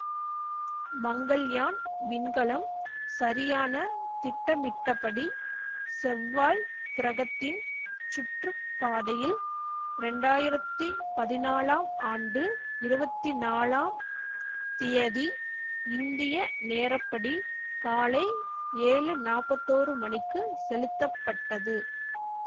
மங்கள்யான் விண்கலம் சரியான திட்டமிட்டபடி செவ்வாய் கிரகத்தின் சுற்று பாதையில் இரண்டாயிரத்தி பதினாலாம் ஆண்டு இருவத்தி நாலாம் தியதி இந்திய நேரப்படி காலை ஏழு நாற்பத்தோரு மணிக்கு செலுத்தப்பட்டது